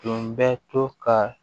Tun bɛ to ka